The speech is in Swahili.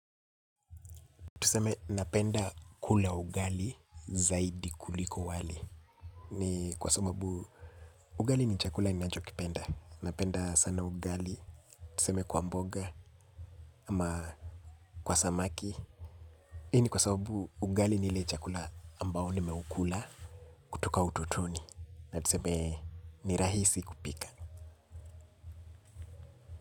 Tuseme napenda kula ugali zaidi kuliko wali ni kwa sababu ugali ni chakula ninachokipenda napenda sana ugali tuseme kwa mboga ama kwa samaki hii ni kwa sababu ugali ni chakula ambao nimeukula toka utotoni na tuseme ni rahisi kupika.